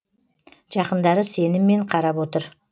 жақындары сеніммен қарап отыр